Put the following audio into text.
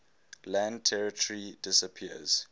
land territory disappears